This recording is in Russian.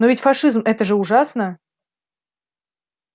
но ведь фашизм это же ужасно